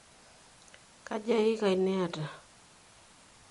Kaja iiikai niata?